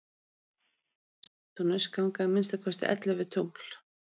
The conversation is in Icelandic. umhverfis neptúnus ganga að minnsta kosti ellefu tungl